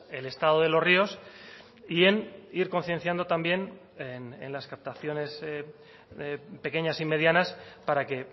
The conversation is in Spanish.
el estado de los ríos y en ir concienciando también en las captaciones pequeñas y medianas para que